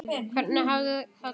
Hvernig hafði þetta gerst?